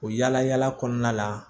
O yala yala kɔnɔna la